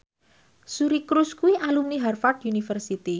Suri Cruise kuwi alumni Harvard university